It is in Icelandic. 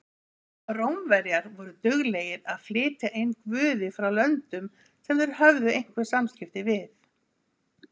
Rómverjar voru duglegir að flytja inn guði frá löndum sem þeir höfðu einhver samskipti við.